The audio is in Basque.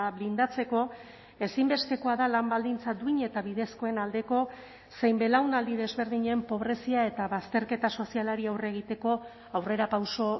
blindatzeko ezinbestekoa da lan baldintza duin eta bidezkoen aldeko zein belaunaldi desberdinen pobrezia eta bazterketa sozialari aurre egiteko aurrerapauso